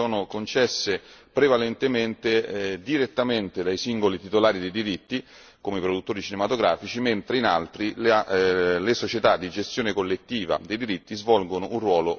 prevalentemente direttamente dai singoli titolari dei diritti, come i produttori cinematografici, mentre in altri le società di gestione collettiva dei diritti svolgono un ruolo ormai determinante.